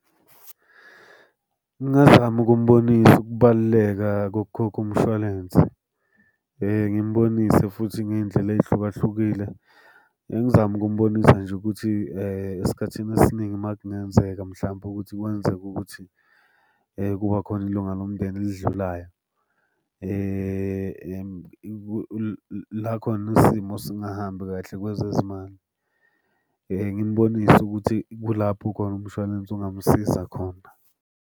Ngingazama ukumbonisa ukubaluleka kokukhokha umshwalense. Ngimbonise futhi ngey'ndlela ey'hlukahlukile. Engizama ukumbonisa nje ukuthi esikhathini esiningi uma kungenzeka mhlampe ukuthi kwenzeke ukuthi kuba khona ilunga lomndeni elidlulayo, la khona isimo singahambi kahle kwezezimali. Ngimbonise ukuthi kulapho khona umshwalense ungamsiza khona.